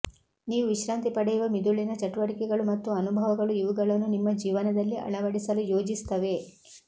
ನೀವು ವಿಶ್ರಾಂತಿ ಪಡೆಯುವ ಮಿದುಳಿನ ಚಟುವಟಿಕೆಗಳು ಮತ್ತು ಅನುಭವಗಳು ಇವುಗಳನ್ನು ನಿಮ್ಮ ಜೀವನದಲ್ಲಿ ಅಳವಡಿಸಲು ಯೋಜಿಸುತ್ತವೆ